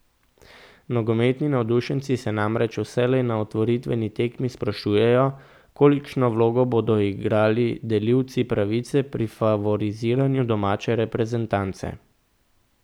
Nogometni navdušenci se namreč vselej na otvoritveni tekmi sprašujejo, kolikšno vlogo bodo igrali delilci pravice pri favoriziranju domače reprezentance.